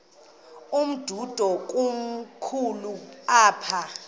umdudo komkhulu apha